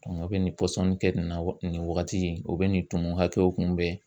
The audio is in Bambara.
Dɔnku a bɛ nin pɔsɔni kɛ nin na wa nin wagati in o be nin tumu hakɛw kunbɛn